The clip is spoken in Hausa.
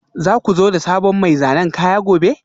Za ku zo da sabon mai zanen kaya gobe?